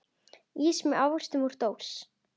Ís með ávöxtum úr dós.